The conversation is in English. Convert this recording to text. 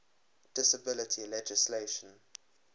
disability legislation